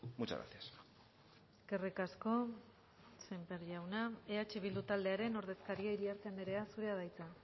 muchas gracias eskerrik asko sémper jauna eh bildu taldearen ordezkaria iriarte andrea zurea da hitza